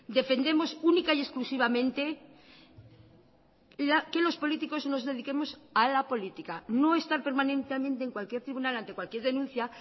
defendemos única y exclusivamente que los políticos nos dediquemos a la política no estar permanentemente en cualquier tribunal ante cualquier denuncia